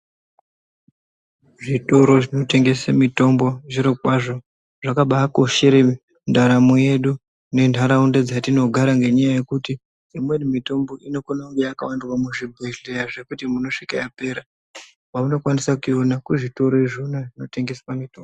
Zvitoro zvinotengesa mitombo zviro kwazvo zvakaba koshera ndaramo yedu ne ntaraunda dzatinogara nenyaya yekuti imweni mitombo iokone kunge yakawandirwa muzvi bhedhlera zvekuti unosvika yapera kwauno kwanisa kuyiona kuzvitoro zvona zvinotengesa mitombo.